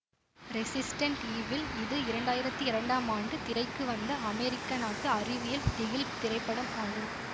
resistant Evil இது இரண்டாயிரத்தி இரண்டாம் ஆண்டு திரைக்கு வந்த அமெரிக்க நாட்டு அறிவியல் திகில் திரைப்படம் ஆகும்